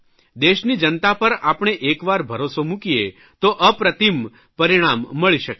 દેશની જનતા પર આપણે એકવાર ભરોસો મૂકીએ તો અપ્રતિમ પરિણામ મળી શકે છે